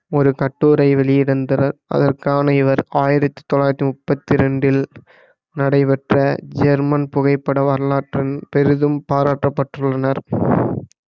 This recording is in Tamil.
ஒரு கட்டுரை வெளியிந்தனர் அதற்கான இவர் ஆயிரத்தி தொள்ளாயிரத்தி முப்பத்தி ரெண்டில் நடைபெற்ற ஜெர்மன் புகைப்பட வரலாற்றின் பெரிதும் பாராட்டப்பட்டுள்ளனர்